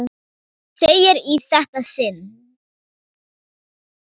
Þú þegir í þetta sinn!